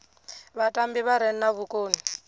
vhatambi vha re na vhukoni